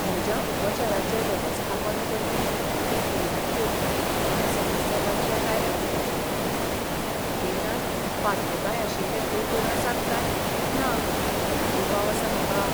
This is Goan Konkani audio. म्हज्या उपचाराचें वेवस्थापन करपी भलायकी केंद्रांतल्यो कांय समस्या लक्षांत आयल्यात म्हज्या. भलायकी केंद्रांत पात्रताय आशिल्ले दोतोर आसात काय ना म्हूण दुबाव आसा म्हाका!